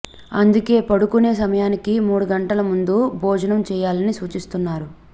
అందుకే పడుకునే సమయానికి మూడు గంటల ముందు భోజనం చేయాలని సూచిస్తున్నారు